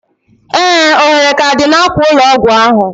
Ee! Ohere k'a dị n'akwa ụlọ ọgwụ ahụ.